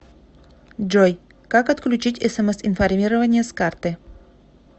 джой как отключить смс информирование с карты